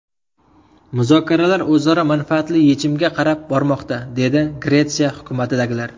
Muzokaralar o‘zaro manfaatli yechimga qarab bormoqda”, dedi Gretsiya hukumatidagilar.